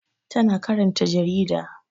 Tana karanta jarida